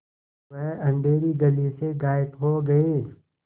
वह अँधेरी गली से गायब हो गए